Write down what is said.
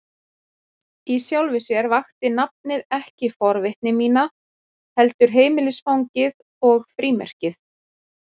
Í sjálfu sér vakti nafnið ekki forvitni mína, heldur heimilisfangið og frímerkið.